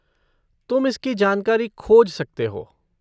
तुम इसकी जानकारी खोज सकते हो।